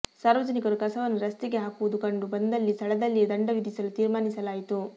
ಸಾರ್ವಜನಿಕರು ಕಸವನ್ನು ರಸ್ತೆಗೆ ಹಾಕುವುದು ಕಂಡು ಬಂದಲ್ಲಿ ಸ್ಥಳದಲ್ಲಿಯೇ ದಂಡ ವಿಧಿಸಲು ತೀರ್ಮಾನಿಸಲಾಯಿತು